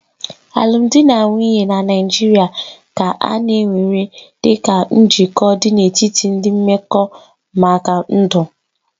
Alụmdi na nwunye na Naịjirịa ka a na-ewere dịka njikọ dị n'etiti ndị mmekọ maka ndụ.